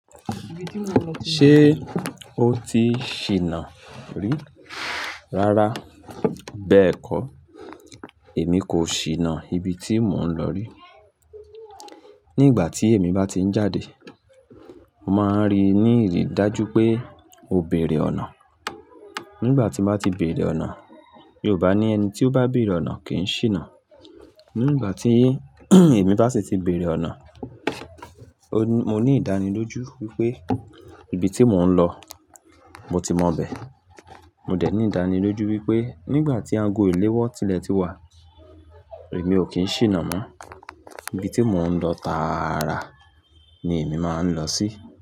Ṣé o ti ṣìnà rí? Rárá, bẹ́ẹ̀kọ́ èmi kò ṣìnà ibi tí mò ń lọ rí. Ní ìgbà tí èmi bá ti ń jáde, màá rí ní ìrí dájú pé mo bèrè ọ̀nà. Nígbà tí màá ti bèrè ọ̀nà, Yorùbá ní ẹni tí ó bá bèrè ọ̀nà kì í ṣìnà. Ní ìgbà tí èmi bá sì ti bèrè ọ̀nà, mo ní ìdánilójú wípé ibi tí mò ń lọ, mo ti maa bẹ̀. Mo dẹ̀ ní ìdánilójú wípé nígbà tí ago èléwọ́ tilẹ̀ ti wà, èmi ò kí ń ṣìnà mọ́. Ibi tí mò ń lọ tààrà ni èmi máa ń lọ sí.